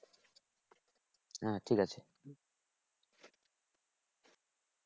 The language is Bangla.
হ্যাঁ ঠিক আছে